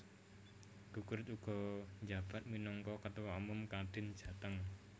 Kukrit uga njabat minangka Ketua Umum Kadin Jateng